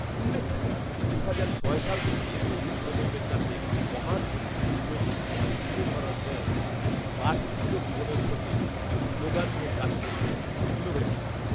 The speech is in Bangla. উল্লেখ্য, দুহাজার ছয় সাল থেকে তরুন প্রজন্মের কাছে মহান মুক্তিযুদ্ধের ইতিহাস তুলে ধরার প্রয়াসে ‘পাঠঋদ্ধ জীবনের খোঁজে ‘ শ্লোগান নিয়ে কাজ করছে ইনোভেটর